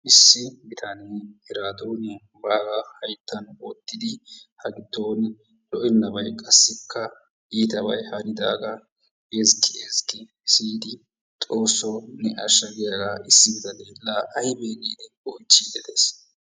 issi bitanee eraadoonita baagaa hayttan wottidi hagidooni ;lo'ennabay qassikka iitabay hanidaagaa ezzgi ezzgi siyidi xoosoo ne asha giyaga siyidi laa aybee giidi oychiidi des.